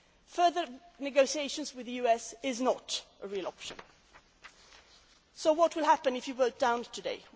Further negotiations with the US are not a real option so what will happen if you vote it down